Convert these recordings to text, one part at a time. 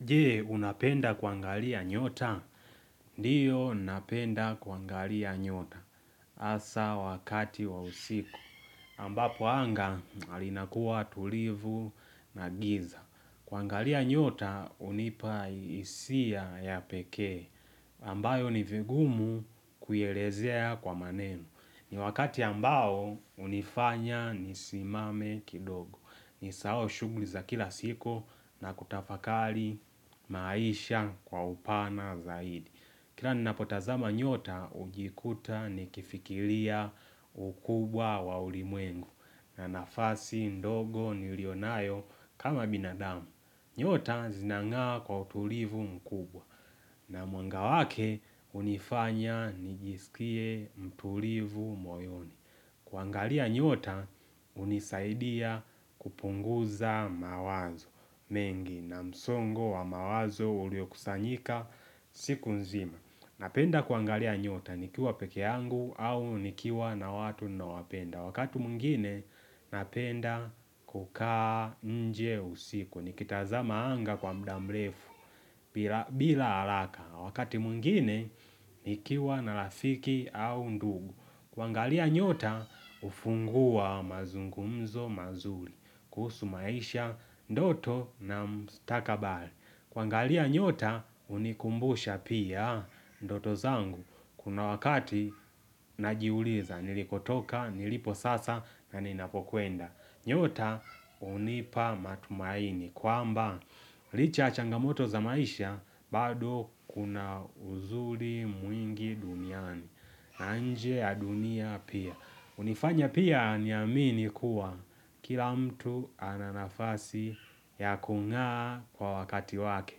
Je, unapenda kuangalia nyota? Ndio, napenda kuangalia nyota. Hasa wakati wa usiku. Ambapo anga, linakua tulivu na giza. Kuangalia nyota, hunipa hisia ya pekee. Ambayo ni vigumu kuielezea kwa maneno. Ni wakati ambao, hunifanya nisimame kidogo. Nisahau shughuli za kila siku na kutafakari maisha kwa upana zaidi Kila ninapotazama nyota hujikuta nikifikiria ukubwa wa ulimwengu na nafasi ndogo nilio nayo kama binadamu nyota zinang'aa kwa utulivu mkubwa na mwanga wake hunifanya nijisikie mtulivu moyoni kuangalia nyota hunisaidia kupunguza mawazo mengi na msongo wa mawazo uliokusanyika siku nzima. Napenda kuangalia nyota nikiwa peke yangu au nikiwa na watu ninaowapenda. Wakati mwngine napenda kukaa nje usiku. Nikitazama anga kwa muda mrefu bila, bila haraka. Wakati mwingine nikiwa na rafiki au ndugu. Kuangalia nyota, hufungua mazungumzo mazuri. Kuhusu maisha, ndoto na mstakabali. Kuangalia nyota, hunikumbusha pia ndoto zangu. Kuna wakati, najiuliza. Nilikotoka, nilipo sasa na ninapokwenda. Nyota, unipa matumaini. Kwamba, licha ya changamoto za maisha, bado kuna uzuri mwingi duniani, na nje ya dunia pia. Hunifanya pia niamini kuwa kila mtu ana nafasi ya kung'aa kwa wakati wake.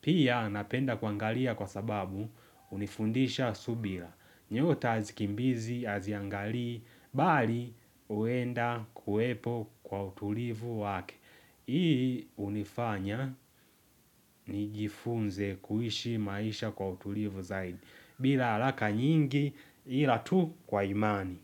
Pia napenda kuangalia kwa sababu hunifundisha subira. Nyota hazikimbizi, haziangali, bali huenda kuwepo kwa utulivu wake. Hii hunifanya nijifunze kuishi maisha kwa utulivu zaidi bila haraka nyingi ila tu kwa imani.